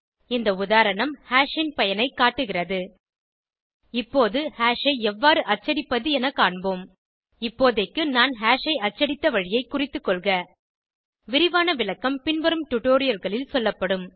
இந்த உதாரணம் ஹாஷ் ன் பயனைக் காட்டுகிறது இப்போது ஹாஷ் ஐ எவ்வாறு அச்சடிப்பது என காண்போம் இப்போதைக்கு நான் ஹாஷ் ஐ அச்சடித்த வழியை குறித்துக்கொள்க விரிவான விளக்கம் பின்வரும் டுடோரியல்களில் சொல்லப்படும்